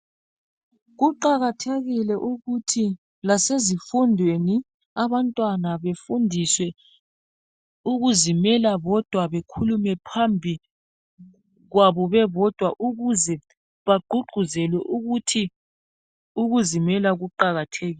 Kuqakathekile ukuthi lasezifundweni abantwana befundiswe ukuzimela bodwa bekhulume phambikwabo bebodwa ukuze bagqugquzelwe ukuthi ukuzimela kuqakathekile.